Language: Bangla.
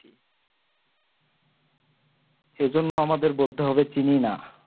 সেই জন্য আমাদের বলতে হবে চিনি না।